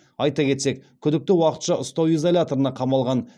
айта кетсек күдікті уақытша ұстау изоляторына қамалған